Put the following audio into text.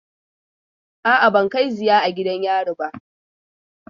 A'a, ban kai ziya a gidan yari ba.